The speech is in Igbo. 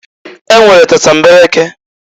E nwere tatambeleke.